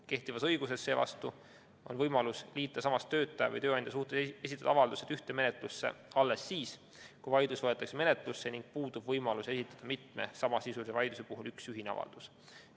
Kehtivas õiguses on võimalus liita sama töötaja või tööandja suhtes esitatud avaldused ühte menetlusse alles siis, kui vaidlus võetakse menetlusse ning puudub võimalus esitada mitme samasisulise vaidluse puhul üks ühine avaldus.